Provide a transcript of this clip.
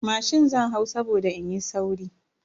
Mashin zan hau saboda in yi sauri.